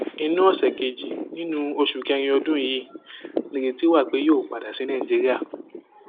inú ọsẹ kejì nínú oṣù kẹrin ọdún yìí nìrètí wà pé yóò padà sí nàìjíríà